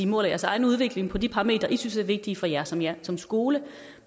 måler jeres egen udvikling på de parametre som i synes er vigtige for jer som jer som skole